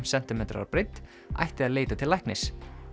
sentimetrar að breidd ætti að leita til læknis